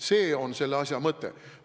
See on selle asja mõte.